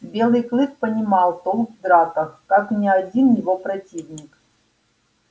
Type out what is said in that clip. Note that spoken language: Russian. белый клык понимал толк в драках как ни один его противник